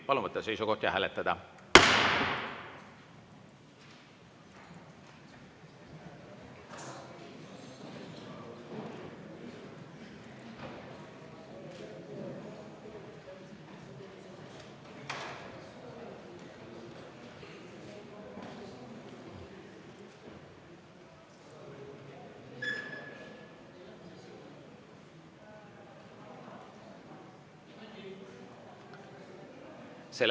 Palun võtta seisukoht ja hääletada!